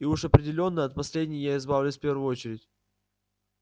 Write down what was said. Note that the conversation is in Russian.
и уж определённо от последней я избавлюсь в первую очередь